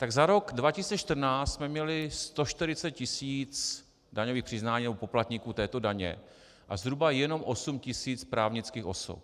Tak za rok 2014 jsme měli 140 tisíc daňových přiznání, nebo poplatníků této daně, a zhruba jenom 8 tisíc právnických osob.